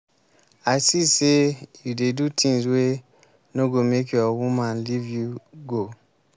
i see sey you dey do tins wey no go make your woman leave you go.